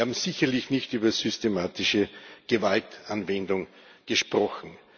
Wir haben sicherlich nicht über systematische Gewaltanwendung gesprochen.